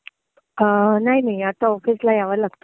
नाही, नाही आता ऑफिसला यावं लागतं.